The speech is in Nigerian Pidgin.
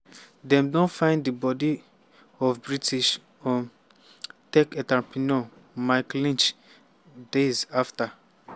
dem don find di body of british um tech entrepreneur mike lynch days afta